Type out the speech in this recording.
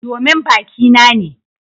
Domin baki na ne.